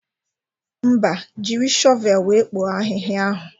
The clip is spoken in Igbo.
Mba, jiri shọvel wéré kpọọ ahịhịa ahụ